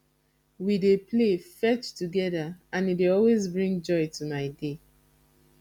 we dey play fetch together and e dey always bring joy to my day